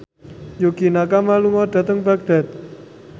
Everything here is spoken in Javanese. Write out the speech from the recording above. Yukie Nakama lunga dhateng Baghdad